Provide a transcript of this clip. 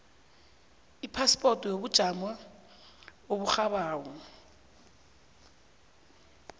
ipaspoti yobujamo oburhabako